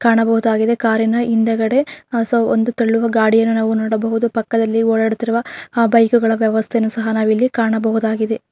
ಕಾಣಬಹುದಾಗಿದೆ ಕಾರಿನ ಹಿಂದೆಗಡೆ ಆಹ್ಹ್ ಸ ಒಂದು ತಳ್ಳುವ ಗಾಡಿಯನ್ನು ನಾವು ನೋಡಬಹುದು ಪಕ್ಕದಲ್ಲಿ ಓಡಾಡುತ್ತಿರುವ ಆಹ್ಹ್ ಬೈಕುಗಳ ವ್ಯವಸ್ಥೆಯನ್ನು ಸಹ ನಾವಿಲ್ಲಿ ಕಾಣಬಹುದಾಗಿದೆ.